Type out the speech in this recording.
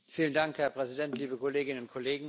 Herr Präsident, liebe Kolleginnen und Kollegen!